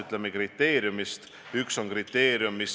Ja ma arvan, et kui seda teha, siis mitte vähemaks kui 14 päevaks.